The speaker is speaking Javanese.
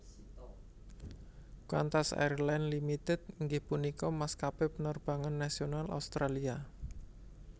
Qantas Airlines Limited inggih punika maskapé penerbangan nasional Australia